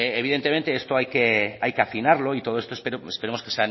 evidentemente esto hay que afinarlo y todo esto esperemos que